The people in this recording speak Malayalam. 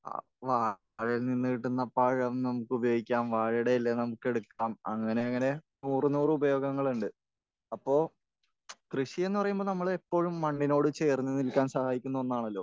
അപ്പോൾ വാഴയിൽ നിന്ന് കിട്ടുന്ന പഴം നമുക്ക് ഉപയോഗിക്കാം. വാഴയുടെ ഇല നമുക്കെടുക്കാം. അങ്ങനെ അങ്ങനെ നൂറ് നൂറ് ഉപയോഗങ്ങളുണ്ട്. അപ്പോൾ കൃഷിയെന്ന് പറയുമ്പോൾ നമ്മൾ എപ്പോഴും മണ്ണിനോട് ചേർന്ന് നിൽക്കാൻ സഹായിക്കുന്ന ഒന്നാണല്ലോ.